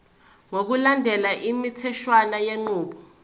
ngokulandela imitheshwana yenqubo